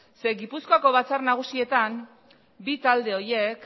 gipuzkoako batzar nagusietan bi talde horiek